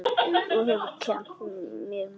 Þú hefur kennt mér margt.